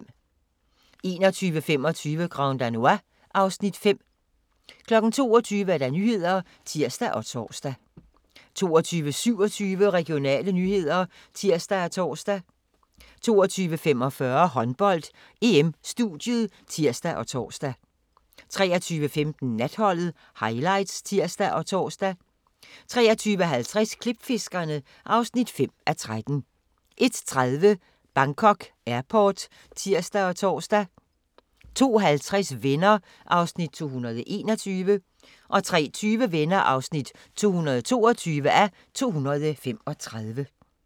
21:25: Grand Danois (Afs. 5) 22:00: Nyhederne (tir og tor) 22:27: Regionale nyheder (tir og tor) 22:45: Håndbold: EM - studiet (tir og tor) 23:15: Natholdet - highlights (tir og tor) 23:50: Klipfiskerne (5:13) 01:30: Bangkok Airport (tir og tor) 02:50: Venner (221:235) 03:20: Venner (222:235)